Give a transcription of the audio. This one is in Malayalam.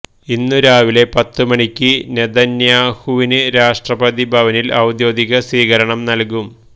ഇന്ന് രാവിലെ പത്തു മണിക്ക് നെതന്യാഹുവിന് രാഷ്ട്രപതി ഭവനില് ഒദ്യോഗിക സ്വീകരണം നല്കും